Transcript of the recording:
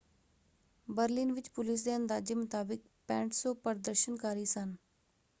Berlin ਵਿੱਚ police ਦੇ ਅੰਦਾਜੇ ਮੁਤਾਬਿਕ 6,500 ਪ੍ਰਦਰਸ਼ਨਕਾਰੀ ਸਨ।